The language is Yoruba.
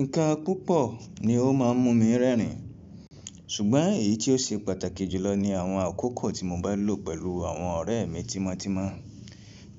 Nǹkan púpọ̀ ni ó má ń mú mi rẹ́rìn, ṣùgbọ́n èyí tí ó ṣe pàtàkì jùlọ ni àwọn àkókò tí mo bá lò pẹ̀lú àwọn ọ̀rẹ́ mi tímọ́tímọ́.